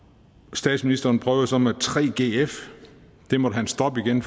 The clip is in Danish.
og statsministeren prøvede så med 3gf men det måtte han stoppe igen